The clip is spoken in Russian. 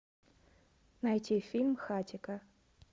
найти фильм хатико